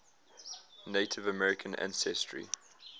native american ancestry